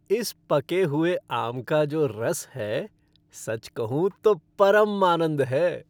इस पके हुए आम का जो रस है, सच कहूँ तो परम आनंद है।